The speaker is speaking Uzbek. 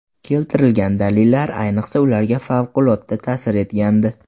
Keltirilgan dalillar, ayniqsa, ularga favqulodda ta’sir etgandi.